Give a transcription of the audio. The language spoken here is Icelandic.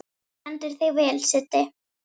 Þú stendur þig vel, Siddi!